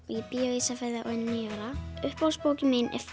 ég bý á Ísafirði og er níu ára uppáhaldsbókin mín